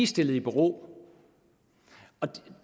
stillet i bero